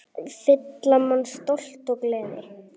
Fylla mann stolti og gleði.